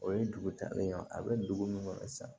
O ye dugu talen ye a bɛ dugu min kɔnɔ sisan